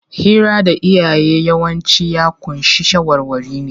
Hira da iyaye yawanci ya ƙunshi shawarwari ne.